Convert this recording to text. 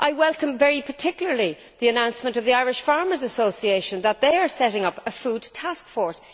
I welcome very particularly the announcement of the Irish Farmers' Association that they are setting up a food taskforce.